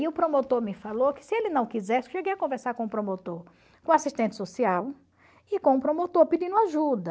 E o promotor me falou que se ele não quisesse, eu cheguei a conversar com o promotor, com o assistente social e com o promotor pedindo ajuda.